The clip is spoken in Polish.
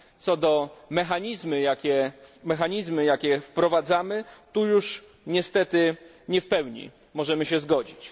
Jeśli chodzi o mechanizmy, jakie wprowadzamy tu już niestety nie wypełni możemy się zgodzić.